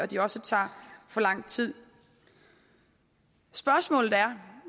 de også tager for lang tid spørgsmålet er